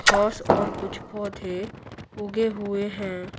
घास और कुछ पौधे उगे हुए हैं।